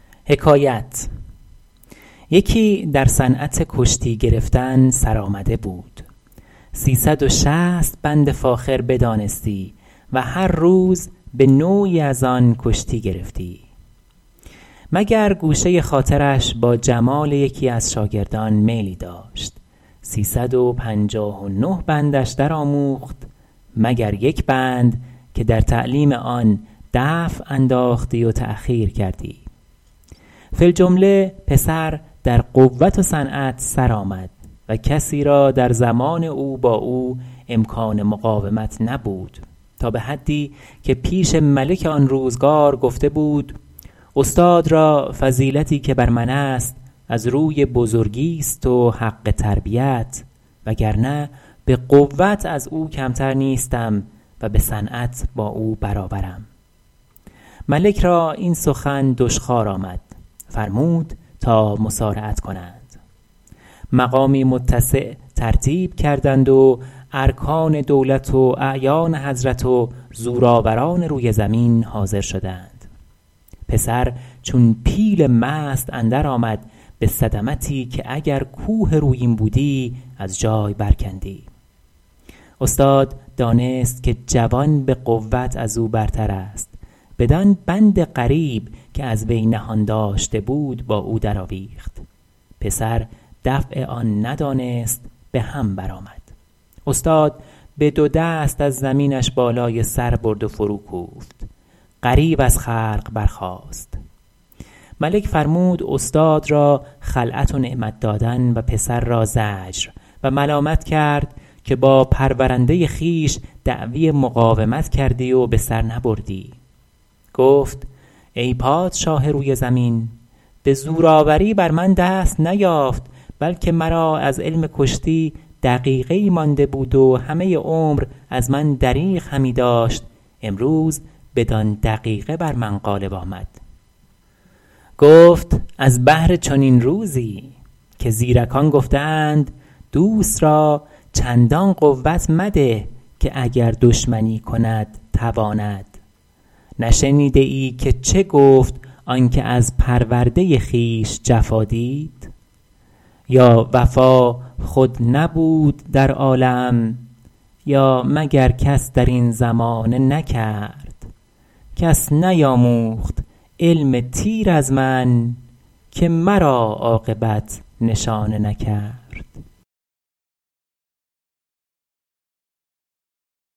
یکی در صنعت کشتی گرفتن سرآمده بود سی صد و شصت بند فاخر بدانستی و هر روز به نوعی از آن کشتی گرفتی مگر گوشه خاطرش با جمال یکی از شاگردان میلی داشت سی صد و پنجاه و نه بندش در آموخت مگر یک بند که در تعلیم آن دفع انداختی و تأخیر کردی فی الجمله پسر در قوت و صنعت سر آمد و کسی را در زمان او با او امکان مقاومت نبود تا به حدی که پیش ملک آن روزگار گفته بود استاد را فضیلتی که بر من است از روی بزرگیست و حق تربیت وگرنه به قوت از او کمتر نیستم و به صنعت با او برابرم ملک را این سخن دشخوار آمد فرمود تا مصارعت کنند مقامی متسع ترتیب کردند و ارکان دولت و اعیان حضرت و زورآوران روی زمین حاضر شدند پسر چون پیل مست اندر آمد به صدمتی که اگر کوه رویین بودی از جای بر کندی استاد دانست که جوان به قوت از او برتر است بدان بند غریب که از وی نهان داشته بود با او در آویخت پسر دفع آن ندانست به هم بر آمد استاد به دو دست از زمینش بالای سر برد و فرو کوفت غریو از خلق برخاست ملک فرمود استاد را خلعت و نعمت دادن و پسر را زجر و ملامت کرد که با پرورنده خویش دعوی مقاومت کردی و به سر نبردی گفت ای پادشاه روی زمین به زورآوری بر من دست نیافت بلکه مرا از علم کشتی دقیقه ای مانده بود و همه عمر از من دریغ همی داشت امروز بدان دقیقه بر من غالب آمد گفت از بهر چنین روزی که زیرکان گفته اند دوست را چندان قوت مده که دشمنی کند تواند نشنیده ای که چه گفت آن که از پرورده خویش جفا دید یا وفا خود نبود در عالم یا مگر کس در این زمانه نکرد کس نیاموخت علم تیر از من که مرا عاقبت نشانه نکرد